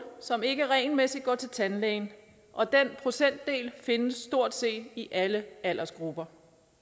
som ikke regelmæssigt går til tandlægen og den procentdel findes stort set i alle aldersgrupper